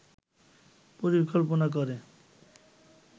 পরিকল্পনা করে